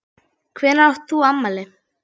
Hvenær átt þú afmæli?